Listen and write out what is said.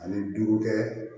Ani duuru kɛ